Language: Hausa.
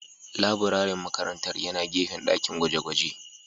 Laburaren makarantar yana gefen dakin gwaje-gwaje